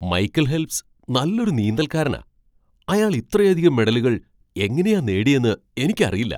Michael Phelps നല്ലൊരു നീന്തൽക്കാരനാ. അയാൾ ഇത്രയധികം മെഡലുകൾ എങ്ങനെയാ നേടിയേന്ന് എനിക്കറിയില്ല!